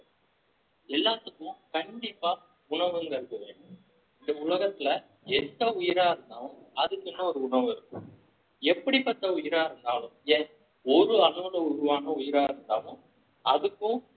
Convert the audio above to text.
எல்லாத்துக்கும் கண்டிப்பா உணவுங்கிறது வேணும் இந்த உலகத்துல எந்த உயிரா இருந்தாலும் அதுக்குன்னு ஒரு உணவு இருக்கும் எப்படிப்பட்ட உயிரா இருந்தாலும் ஏன் ஒரு அளவுல உருவான உயிரா இருந்தாலும் அதுக்கும்